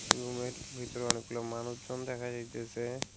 রুমের ভিতরে অনেকগুলা মানুষজন দেখা যাইতেসে।